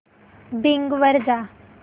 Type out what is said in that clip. Bing वर जा